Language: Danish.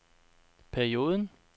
perioden